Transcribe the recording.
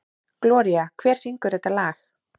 Gloría, hver syngur þetta lag?